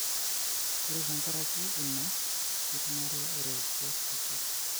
ore tenkaraki ena, ekinare eretoto sapuk.